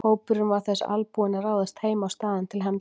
Hópurinn var þess albúinn að ráðast heim á staðinn til hefnda.